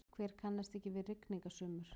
Hver kannast ekki við rigningasumur?